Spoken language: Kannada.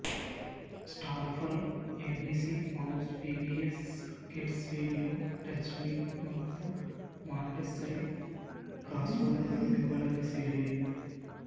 Starfall ABC mouse PBS kids video teach me ಮತ್ತು ಮಾಂಟೆಸ್ಸರಿ ಕ್ರಾಸ್ವರ್ಡ್ಗಳು ಇವುಗಳಲ್ಲಿ ಸೇರಿವೆ